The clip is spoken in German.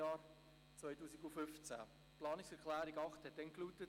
Die Planungserklärung 8 lautete damals: